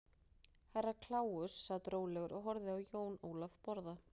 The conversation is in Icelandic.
Herra Kláus sat rólegur og horfði á Jón Ólaf borða.